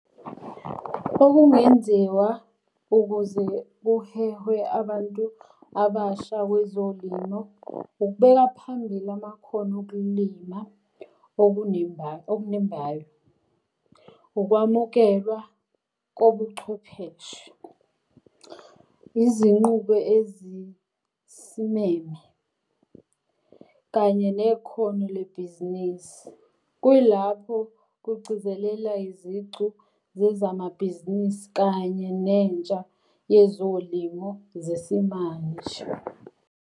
Okungenziwa ukuze kuhehwe abantu abasha kwezolimo, ukubeka phambili amakhono okulima okunembayo okunembayo. Ukwamukelwa kobuchwepheshe. Izinqubo ezisimeme, kanye nekhono lebhizinisi. Kuyilapho kugcizelela izicu zezamabhizinisi kanye nentsha yezolimo zesimanje.